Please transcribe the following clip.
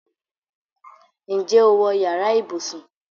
Ǹjẹ́ o wọ yàrá ibùsùn?